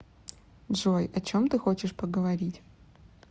джой о чем ты хочешь поговорить